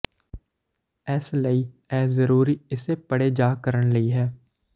ਇਸ ਲਈ ਇਹ ਜ਼ਰੂਰੀ ਇਸੇ ਪੜ੍ਹੇ ਜਾ ਕਰਨ ਲਈ ਹੈ